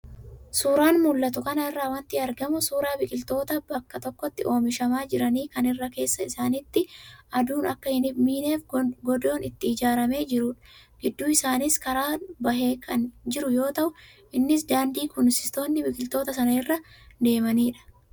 Suuraa mul'atu kanarraa wanti argamu suuraa biqiltoota bakka tokkotti oomishamaa jiranii kan irra keessa isaaniitti aduun Akka hin miineef godoon itti ijaaramee jirudha. Gidduu isaaniis karaan bahee kan jiru yoo ta'u innis daandii kunuunsitoonni biqiltoota sanaa irra deemanidha.